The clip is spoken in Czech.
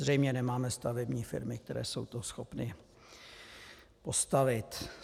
Zřejmě nemáme stavební firmy, které jsou to schopny postavit.